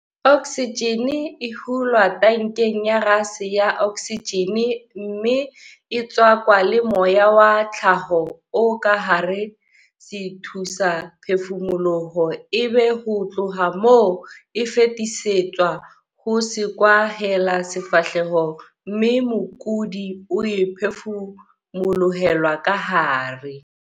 Oksijene e hulwa tankeng ya gase ya oksijene mme e tswakwa le moya wa tlhaho o ka hara sethusaphefumoloho ebe ho tloha moo e fetisetswa ho sekwahelasefahleho mme mokudi o e phefumolohelwa kahare.